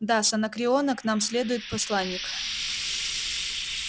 да с анакреона к нам следует посланник